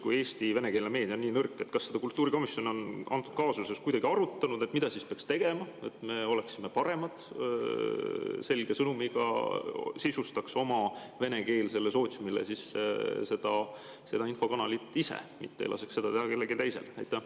Kui Eesti venekeelne meedia on justkui nii nõrk, siis kas kultuurikomisjon on seda antud kaasuses kuidagi arutanud, mida peaks tegema, et me oleksime paremad, selge sõnumiga, sisustaks oma venekeelsele sootsiumile seda infokanalit ise, mitte ei laseks seda teha kellelgi teisel?